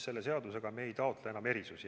Selle seadusega ei taotle me enam erandeid.